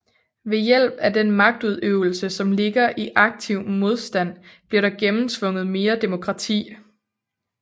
Ved hjælp af den magtudøvelse som ligger i aktiv modstand bliver der gennemtvunget mere demokrati